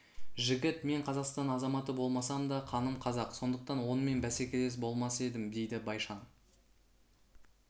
жігіт мен қазақстан азаматы болмасам да қаным қазақ сондықтан онымен бәсекелес болмас едім дейді байшан